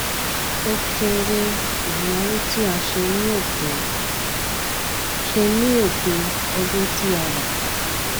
o kere ìnáwó tí a o ṣe ní òpin ṣe ní òpin ọdún tí a wà